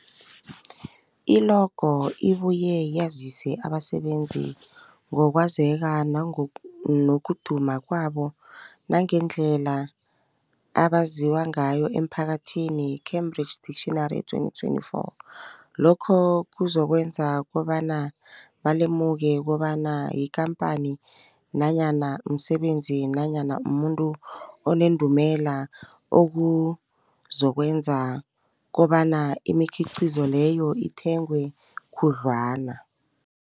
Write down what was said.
I-logo ibuye yazise abasebenzisi ngokwazeka nokud nokuduma kwabo nangendlela abaziwa ngayo emphakathini, Cambridge Dictionary 2024. Lokho kuzokwenza kobana balemuke kobana yikhamphani nanyana umsebenzi nanyana umuntu onendumela, okuzokwenza kobana imikhiqhizo leyo ithengwe khudlwana.